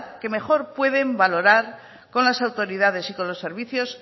que mejor pueden valorar con las autoridades y con los servicios